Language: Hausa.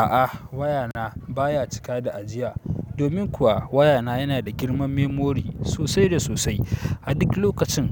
A'a wayana baya cika da ajiya. Domin kuwa wayana yana da girman memory sosai da sosai. A duk lokacin